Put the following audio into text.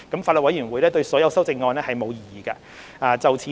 法案委員會對所有修正案並無異議。